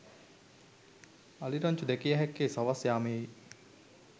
අලි රංචු දැකිය හැක්කේ සවස් යාමයේ